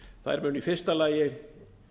þær munu í fyrsta lagi